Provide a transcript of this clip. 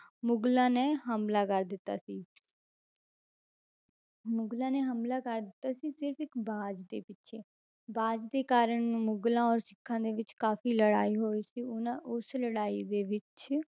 ਮੁਗਲਾਂ ਨੇ ਹਮਲਾ ਕਰ ਦਿੱਤਾ ਸੀ ਮੁਗਲਾਂ ਨੇ ਹਮਲਾ ਕਰ ਦਿੱਤਾ ਸੀ, ਸਿਰਫ਼ ਇੱਕ ਬਾਜ਼ ਦੇ ਪਿੱਛੇ, ਬਾਜ਼ ਦੇ ਕਾਰਨ ਮੁਗਲਾਂ ਔਰ ਸਿੱਖਾਂ ਦੇ ਵਿੱਚ ਕਾਫ਼ੀ ਲੜਾਈ ਹੋਈ ਸੀ ਉਹਨਾਂ ਉਸ ਲੜਾਈ ਦੇ ਵਿੱਚ